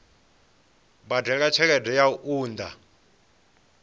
badela tshelede ya u unḓa